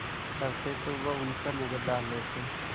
करते तो वह उन पर नज़र डाल लेते